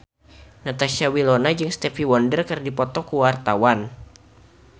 Natasha Wilona jeung Stevie Wonder keur dipoto ku wartawan